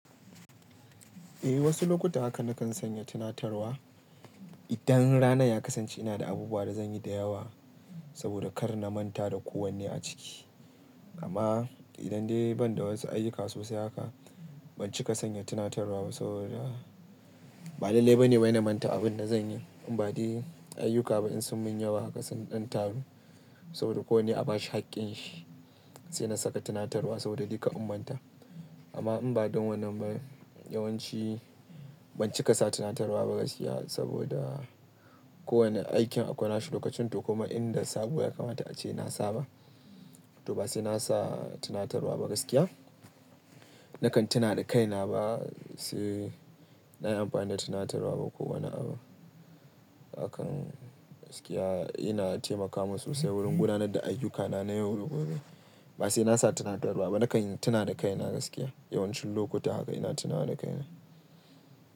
Eh wasu lokuta haka na kan sanya tunatarwa idan ranan ya kasance ina da abubuwa da zan yi da yawa saboda kar na manta da kowane a ciki. Amma idan dai ban da wasu ayyuka sosai haka, ban cika sanya tunatarwa ba saboda ba lalle ba ne ma na manta abin da zan yi. In ba dai ayyuka ba in sun mun yawa haka, sun ɗan taru saboda ko ne a bashi haƙƙin shi sai na saka tunatarwa saboda dai kar in manta. Amma in ba don wannan ba yawanci ban cika sa tunatarwa ba gaskiya saboda kowane aikin akwai nashi lokacin tu kuma inda sabo ya kamata ace na saba. To ba sai na sa tunatarwa ba gaskiya. Nakan tuna da kaina ba sai na yi amfani da tunatarwa ba ko wani abu. Hakan gaskiya yana taimaka min sosai wurin gudanar da ayyukana na yau da gobe. Ba sai na sa tunatarwa ba, nakan tuna da kaina gaskiya. Yawancin lokuta haka ina tunawa da kaina.